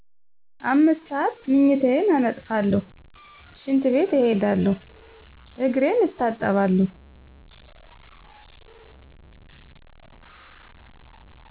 5 ሰዓት ምኝታየን አነጥፉለሁ ሽንት ቤት እሄዳለሁ እግሬን እታጠባለሁ።